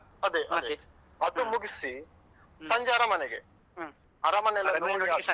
ಅದೇ ಅದು ಮುಗಿಸಿ ಸಂಜೆ ಅರಮನೆಗೆ ಅರಮನೆಯೆಲ್ಲ ನೋಡಿ ಆದ್ಮೇಲೆ.